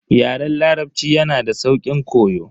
Yaren larabci yanada sauƙin koyo.